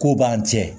Ko b'an jɛ